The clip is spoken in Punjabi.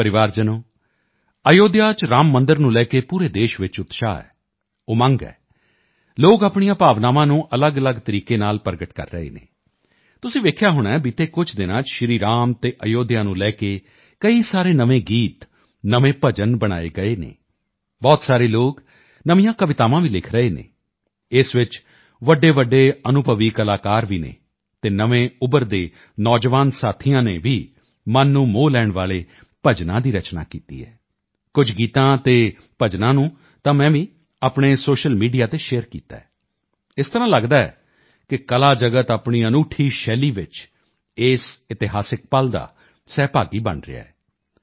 ਮੇਰੇ ਪਰਿਵਾਰਜਨੋਂ ਅਯੁੱਧਿਆ ਚ ਰਾਮ ਮੰਦਿਰ ਨੂੰ ਲੈ ਕੇ ਪੂਰੇ ਦੇਸ਼ ਚ ਉਤਸ਼ਾਹ ਹੈ ਉਮੰਗ ਹੈ ਲੋਕ ਆਪਣੀਆਂ ਭਾਵਨਾਵਾਂ ਨੂੰ ਅਲੱਗਅਲੱਗ ਤਰੀਕੇ ਨਾਲ ਪ੍ਰਗਟ ਕਰ ਰਹੇ ਹਨ ਤੁਸੀਂ ਵੇਖਿਆ ਹੋਣੈ ਬੀਤੇ ਕੁਝ ਦਿਨਾਂ ਚ ਸ਼੍ਰੀ ਰਾਮ ਤੇ ਅਯੁੱਧਿਆ ਨੂੰ ਲੈ ਕੇ ਕਈ ਸਾਰੇ ਨਵੇਂ ਗੀਤ ਨਵੇਂ ਭਜਨ ਬਣਾਏ ਗਏ ਹਨ ਬਹੁਤ ਸਾਰੇ ਲੋਕ ਨਵੀਆਂ ਕਵਿਤਾਵਾਂ ਵੀ ਲਿਖ ਰਹੇ ਹਨ ਇਸ ਚ ਵੱਡੇਵੱਡੇ ਅਨੁਭਵੀ ਕਲਾਕਾਰ ਵੀ ਹਨ ਤੇ ਨਵੇਂ ਉੱਭਰਦੇ ਯੁਵਾ ਸਾਥੀਆਂ ਨੇ ਵੀ ਮਨ ਨੂੰ ਮੋਹ ਲੈਣ ਵਾਲੇ ਭਜਨਾਂ ਦੀ ਰਚਨਾ ਕੀਤੀ ਹੈ ਕੁਝ ਗੀਤਾਂ ਅਤੇ ਭਜਨਾਂ ਨੂੰ ਤਾਂ ਮੈਂ ਵੀ ਆਪਣੇ ਸੋਸ਼ਲ ਮੀਡੀਆ ਤੇ ਸ਼ੇਅਰ ਕੀਤਾ ਹੈ ਇਸ ਤਰ੍ਹਾਂ ਲੱਗਦਾ ਹੈ ਕਿ ਕਲਾ ਜਗਤ ਆਪਣੀ ਅਨੂਠੀ ਸ਼ੈਲੀ ਚ ਇਸ ਇਤਿਹਾਸਕ ਪਲ ਦਾ ਸਹਿਭਾਗੀ ਬਣ ਰਿਹਾ ਹੈ